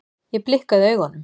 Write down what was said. Ég blikkaði augunum.